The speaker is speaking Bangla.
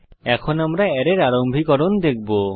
এখন আমরা অ্যারের আরম্ভীকরণ দেখব